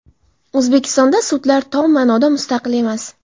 O‘zbekistonda sudlar tom ma’noda mustaqil emas.